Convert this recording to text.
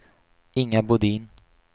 Inga Bodin